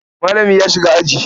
Malami ya shiga aji.